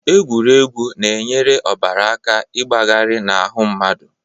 Egwuregwu na-enyere ọbara aka ịgbagarị n'ahụ mmadụ